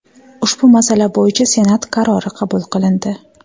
Ushbu masala bo‘yicha Senat qarori qabul qilindi.